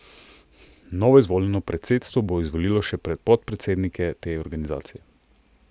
Novoizvoljeno predsedstvo bo izvolilo še podpredsednike te organizacije.